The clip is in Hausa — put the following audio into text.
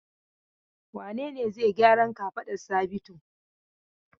Wane ne zai gyaran kafadar Sabitu?